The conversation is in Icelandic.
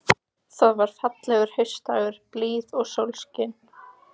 Það var fallegur haustdagur, blíða og sólskin.